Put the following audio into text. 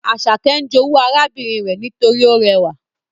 Asake n jowu arabinrin re nitori o rewa